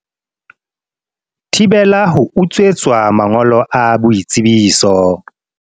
Thibela ho utswetswa mangolo a boitsebiso